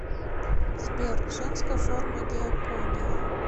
сбер женская форма диакония